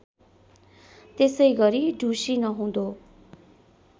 त्यसैगरी ढुसी नहुँदो